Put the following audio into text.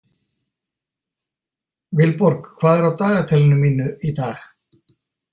Vilborg, hvað er á dagatalinu mínu í dag?